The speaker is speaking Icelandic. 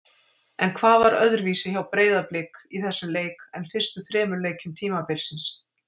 En hvað var öðruvísi hjá Breiðablik í þessum leik en fyrstu þremur leikjum tímabilsins?